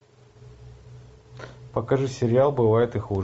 покажи сериал бывает и хуже